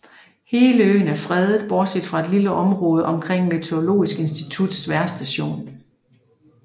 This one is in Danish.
Hele øen er fredet bortset fra et lille område omkring Meteorologisk institutts vejrstation